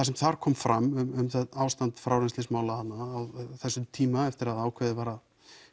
sem þar kom fram um það ástand frárennslismála þarna á þessum tíma eftir að ákveðið var að